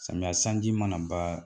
Samiya sanji mana ban